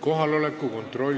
Kohaloleku kontroll